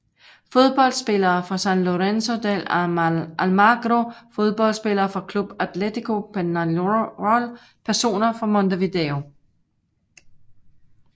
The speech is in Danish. Fodboldspillere fra San Lorenzo de Almagro Fodboldspillere fra Club Atlético Peñarol Personer fra Montevideo